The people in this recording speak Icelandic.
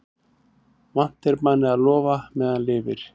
Vant er manni að lofa meðan lifir.